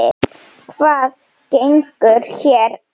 Hvað gengur hér á?